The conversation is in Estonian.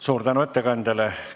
Suur tänu ettekandjale!